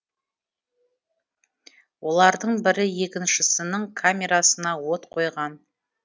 олардың бірі екіншісінің камерасына от қойған